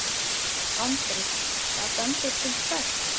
Andri: Það bendir til hvers?